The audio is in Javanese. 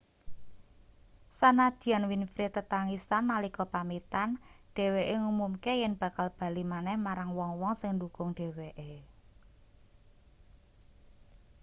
sanadyan winfrey tetangisan nalika pamitan dheweke ngumumke yen bakal bali maneh marang wong-wong sing ndhukung dheweke